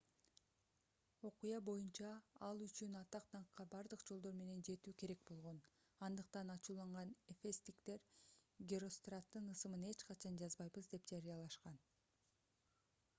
окуя боюнча ал үчүн атак-даңкка бардык жолдор менен жетүү керек болгон андыктан ачууланган эфестиктер геростраттын ысымын эч качан жазбайбыз деп жарыялашкан